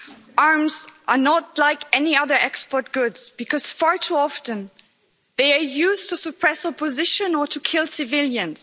Madam President, arms are not like any other export goods, because far too often they are used to suppress opposition or to kill civilians.